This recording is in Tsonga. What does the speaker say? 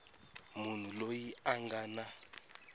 munhu loyi a nga na